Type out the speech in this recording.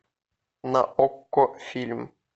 на окко фильм